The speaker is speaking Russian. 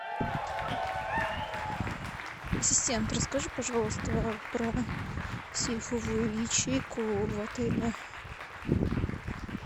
ассистент расскажи пожалуйста про сейфовую ячейку в отеле